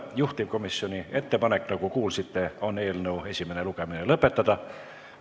Juhtivkomisjoni ettepanek, nagu kuulsite, on eelnõu esimene lugemine lõpetada.